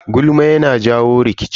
Gulma yana jawo rikici.